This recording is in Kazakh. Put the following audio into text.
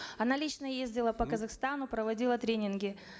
она лично ездила по казахстану проводила тренинги